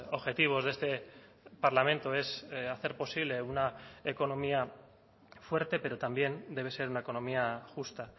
objetivos de este parlamento es hacer posible una economía fuerte pero también debe ser una economía justa